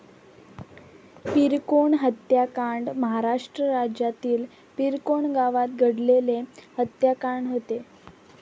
पिरकोण हत्याकांड महाराष्ट्र राज्यातील पिरकोण गावात घडलेले हत्याकांड होते.